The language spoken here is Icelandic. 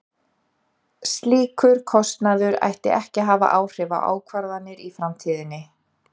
Slíkur kostnaður ætti ekki að hafa áhrif á ákvarðanir í framtíðinni.